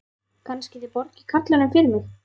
Kannski þið borgið karlinum fyrir mig.